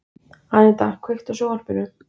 Aníta, kveiktu á sjónvarpinu.